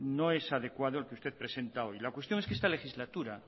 no es adecuado el que usted presenta hoy la cuestión es que esta legislatura